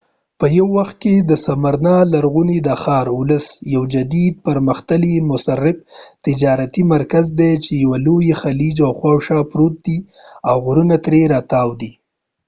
په یو وخت کې د سمرنا لرغونی دا ښار اوس یو جدید پرمختللی مصرف تجارتي مرکز دی چې یوه لوی خلیج خواوشا پروت دی او غرونو ترې راتاو دي